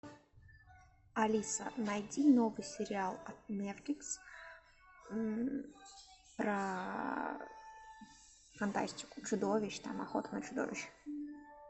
алиса найди новый сериал от нетфликс про фантастику чудовищ там охоту на чудовищ